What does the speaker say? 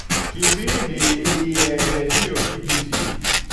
kipindi y e redio b.b.c